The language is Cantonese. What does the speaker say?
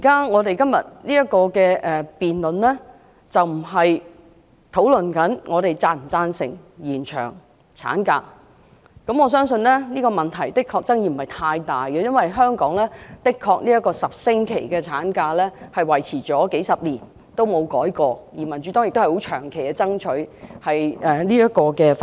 我們現正進行的辯論，並非討論是否贊成延長產假，我相信這個問題的確沒有太大爭議，因為香港的10星期法定產假維持了幾十年都不曾作出修改，而民主黨已長期爭取修訂這項法例。